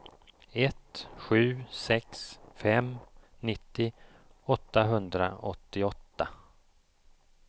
ett sju sex fem nittio åttahundraåttioåtta